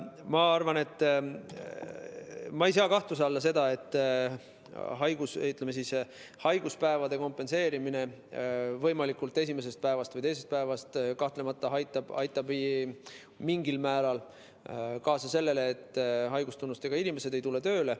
Ma ei sea kahtluse alla seda, et haiguspäevade kompenseerimine esimesest või teisest päevast aitab mingil määral kaasa sellele, et haigustunnustega inimesed ei lähe tööle.